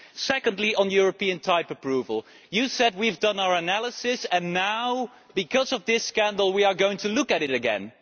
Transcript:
Secondly, on European type approval, you said that we have done our analysis and now because of this scandal we are going to look at it again.